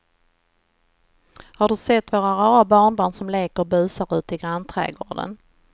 Har du sett våra rara barnbarn som leker och busar ute i grannträdgården!